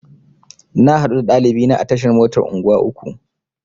Na haɗu da ɗalibina a tashar motar unguwa uku.